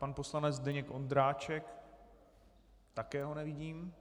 Pan poslanec Zdeněk Ondráček - také ho nevidím.